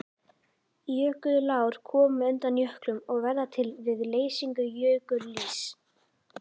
Jökulár koma undan jöklum og verða til við leysingu jökulíss.